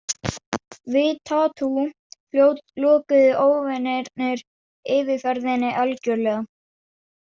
Við Tatú- fljót lokuðu óvinirnir yfirferðinni algjörlega.